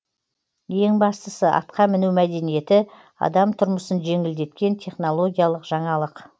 ең бастысы атқа міну мәдениеті адам тұрмысын жеңілдеткен технологиялық жаңалық